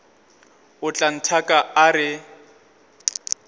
o tla nthaka a re